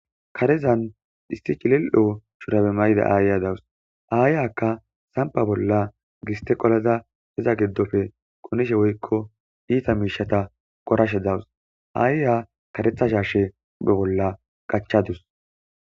karezan dhisti cilil7o shurabe mayda aayya dawus aayaka sampa bolla gisteqolaza heza giddofe qonishe woykko iita miishata qorashe dawus aayya karetha shashe be bolla qachadus